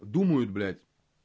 думают блядь